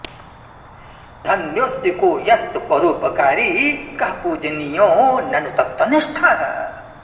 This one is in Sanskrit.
धन्योऽस्ति को यस्तु परोपकारी कः पूजनीयो ननु तत्त्वनिष्ठः